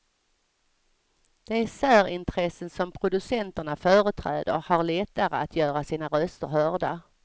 De särintressen som producenterna företräder har lättare att göra sina röster hörda.